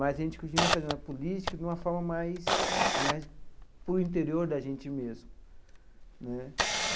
mas a gente continua fazendo a política de uma forma mais mais para o interior da gente mesmo né.